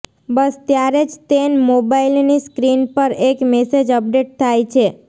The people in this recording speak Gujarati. બસ ત્યારે જ તેન મોબાઈલની સ્ક્રીન પર એક મેસેજ અપડેટ થાય છે